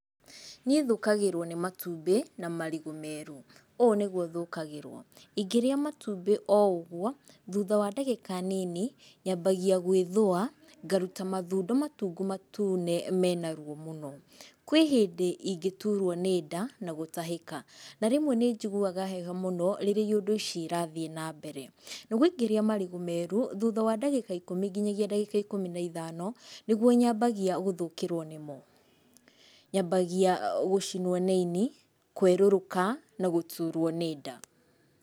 Niĩ thũkagĩrwo nĩ matumbĩ na marigũ meru. Ũũ nĩguo thũkagĩrwo, ingĩrĩa matumbĩ oũguo, thuutha wa ndagĩka nini nyambagia gwĩthũa, ngaruta mathundo matungu matune mena ruo muno. Kwĩ hĩndĩ ingĩturwo nĩnda na gũtahĩka, na rĩmwe nĩ njiguaga heho mũno rĩrĩa iyũndũ ici irathiĩ nambere. Naguo ingĩrĩa marigũ meru, thuutha wa ndagĩka ikũmi nginyagia ndagĩka ikũmi na ithano, nĩguo nyambagia gũthũkĩrwo nĩmo. Nyambagia gũcimwo nĩ ini, kwerũrũka na gũturwo nĩ nda.